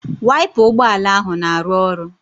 Waipa ụgbọala ahụ na-arụ ọrụ